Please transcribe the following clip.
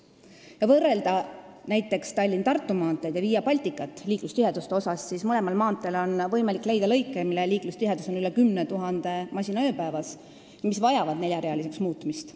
Kui võrrelda näiteks Tallinna–Tartu maanteed ja Via Balticat liiklustiheduse poolest, siis on mõlemal maanteel võimalik leida lõike, kus liiklustihedus on üle 10 000 masina ööpäevas ja mis vajavad neljarealiseks muutmist.